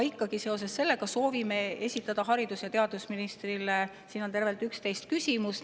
Me soovime esitada haridus- ja teadusministrile tervelt 11 küsimust.